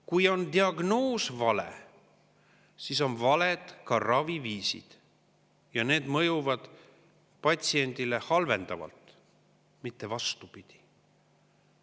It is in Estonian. Kui on diagnoos vale, siis on valed ka raviviisid, ja need mõjuvad patsiendile halvendavalt, mitte vastupidi.